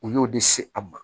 U y'o de se a ma